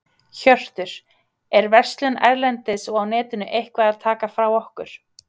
Hjörtur: Er verslun erlendis og á netinu eitthvað að taka frá okkur?